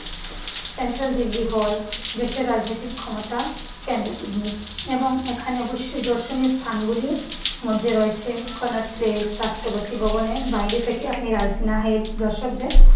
central Delhi হল, দেশের রাজনৈতিক ক্ষমতার কেন্দ্রবিন্দু এবং এখানে অবশ্যই দর্শনীয় স্থানগুলিও মধ্যে রয়েছে করনাকপ্লেস, রাষ্ট্রপতি ভবনের বাইরে থেকে আপনি রাইসিনা হিল দর্শকদের